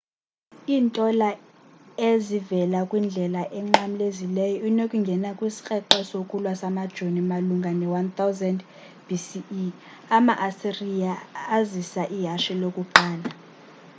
iintola e ezivela kwindlela enqamlezileyo inokungena kwisikrweqe sokulwa samajoni malunga ne-1000 b.c.e. ama-asiriya azisa ihashe lokuqala